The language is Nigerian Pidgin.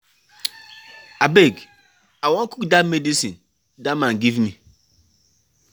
Abeg I wan cook dat medicine dat man give me.